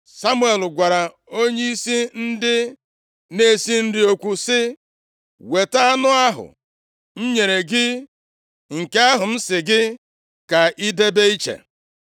Samuel gwara onyeisi ndị na-esi nri okwu sị, “Weta anụ ahụ m nyere gị, nke ahụ m sị gị ka ị debe iche.”